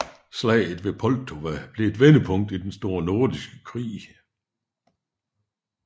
Slaget ved Poltava blev et vendepunkt i den store nordiske krig